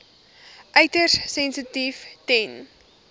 uiters sensitief ten